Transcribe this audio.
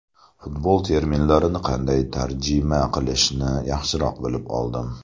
Futbol terminlari qanday tarjima qilishini yaxshiroq bilib oldim.